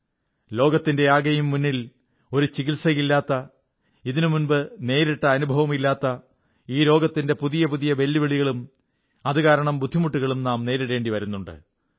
ലോകത്തിന്റെയാകെയും മുന്നിൽ ഒരു ചികിത്സയില്ലാത്ത ഇതിനുമുമ്പ് നേരിട്ട അനുഭവമില്ലാത്ത ഈ രോഗത്തിന്റെ പുതിയ പുതിയ വെല്ലുവിളികളും അതുകാരണം ബുദ്ധിമുട്ടുകളും നാം നേരിടേണ്ടി വരുന്നുണ്ട്